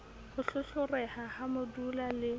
ho hlohloreha ha modula le